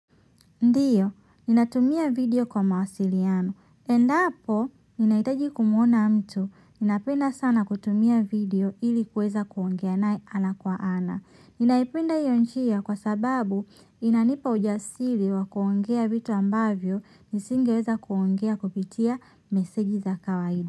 Ndiyo, ninatumia video kwa mawasiliano. Endapo ninahitaji kumuona mtu napenda sana kutumia video ili kuweza kuongea naye ana kwa ana ninaipenda iyo njia kwa sababu inanipa ujasiri wa kuongea vitu ambavyo nisingeweza kuongea kupitia misingi ya kawaida.